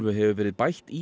hefur verið bætt í